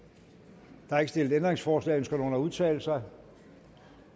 der er ikke stillet ændringsforslag ønsker nogen at udtale sig